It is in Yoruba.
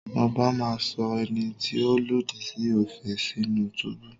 Ọbá máa sọ ẹni tí ó lòdì sí òfin sínú túbú.